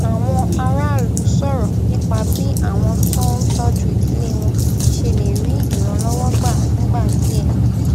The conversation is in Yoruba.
àwọn aráàlú sòrò nípa bí àwọn tó ń tójú ìdílé wọn ṣe lè rí ìrànlówó gbà fúngbà díè